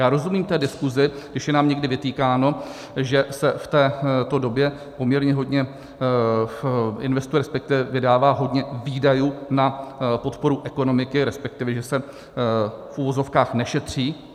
Já rozumím té diskusi, když je nám někdy vytýkáno, že se v této době poměrně hodně investuje, respektive vydává hodně výdajů na podporu ekonomiky, respektive, že se, v uvozovkách, nešetří.